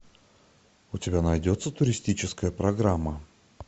у тебя найдется туристическая программа